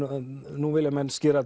nú vilja menn skera